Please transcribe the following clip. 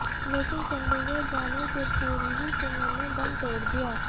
लेकिन चंडीगढ़ जाने से पूर्व ही सुमन ने दम तोड़ दिया